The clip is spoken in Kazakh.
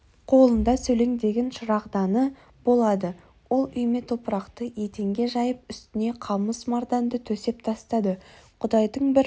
қолында сөлеңдеген шырағданы болады ол үйме топырақты еденге жайып үстіне қамыс марданды төсеп тастады құдайдың бір